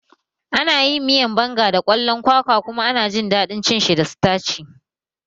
Ana yin miyan Banga da kwalon kwakwa kuma ana jin daɗin cin shi da sitaci